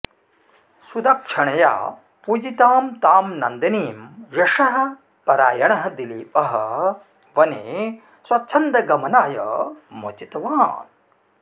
सुदक्षिणया पूजितां तां नन्दिनीं यशःपरायणः दिलीपः वने स्वच्छन्दगमनाय मोचितवान्